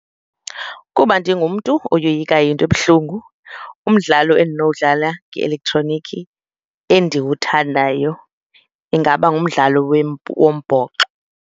Kuba ndingumntu oyoyikayo into ebuhlungu, umdlalo endinowubhatala nge-elektroniki endiwuthandayo ingaba ngumdlalo wombhoxo.